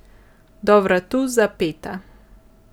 Do vratu zapeta.